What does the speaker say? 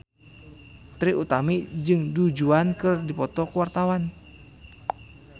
Trie Utami jeung Du Juan keur dipoto ku wartawan